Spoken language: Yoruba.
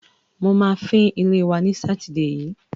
Mo máa fín ilé wa ní Sátidé yìí.